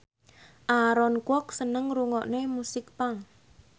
Aaron Kwok seneng ngrungokne musik punk